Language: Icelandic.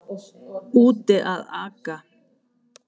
Úti að aka